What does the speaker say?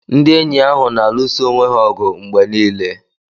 Ndị enyi ahụ na-alụsọ ọnwe ha ọgụ mgbe niile.